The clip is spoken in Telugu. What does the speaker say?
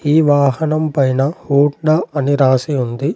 ఈ వాహనం పైన హోండా అని రాసి ఉంది.